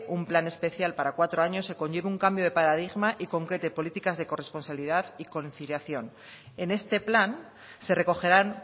un plan especial para cuatro años que conlleve un cambio de paradigma y concrete políticas de corresponsabilidad y conciliación en este plan se recogerán